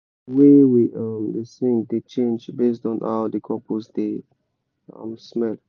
the way we um da sing dey change based on how the compost dey um smell.